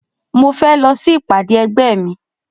Mo fẹ́ lọ sí ìpàdé ẹgbẹ́ mi